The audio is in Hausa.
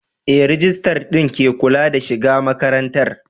Ee, rijistar din ke kula da shiga makarantar.